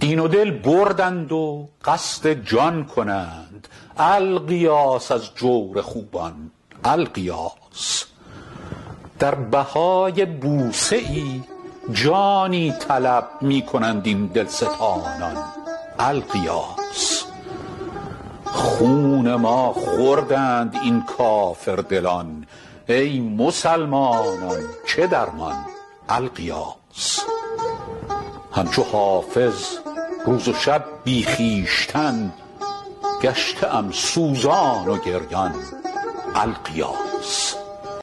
دین و دل بردند و قصد جان کنند الغیاث از جور خوبان الغیاث در بهای بوسه ای جانی طلب می کنند این دلستانان الغیاث خون ما خوردند این کافردلان ای مسلمانان چه درمان الغیاث هم چو حافظ روز و شب بی خویشتن گشته ام سوزان و گریان الغیاث